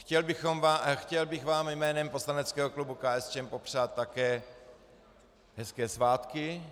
Chtěl bych vám jménem poslaneckého klubu KSČM popřát také hezké svátky,